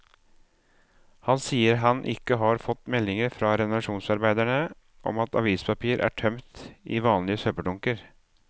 Han sier han ikke har fått meldinger fra renovasjonsarbeiderne om at avispapir er tømt i vanlige søppeldunker.